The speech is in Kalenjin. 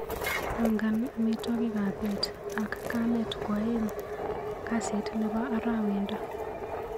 Pangan amitwogikap bet ak kamet kwaeng' kasit nebo arawendo.